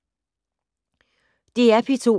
DR P2